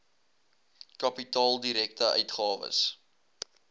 kapitaal direkte uitgawes